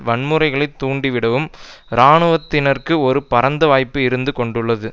வன்முறைகளைத் தூண்டிவிடவும் இராணுவத்தினருக்கு ஒரு பரந்த வாய்ப்பு இருந்து கொண்டுள்ளது